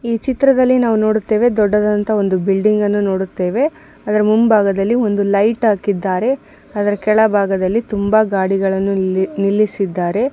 ಈ ಚಿತ್ರದಲ್ಲಿ ನಾವು ನೋಡುತ್ತೇವೆ ದೊಡ್ಡದಾಂತಹ ಒಂದು ಬಿಲ್ಡಿಂಗನ್ನು ನೋಡುತ್ತೇವೆ ಅದರ ಮುಂಭಾಗದಲ್ಲಿ ಒಂದು ಲೈಟ್ ಹಾಕಿದ್ದರೆ ಅದರ ಕೆಳ ಭಾಗದಲ್ಲಿ ತುಂಬಾ ಗಡಿಗಲ್ಲನು ನಿಲ್ಲಿಸಿದರೆ --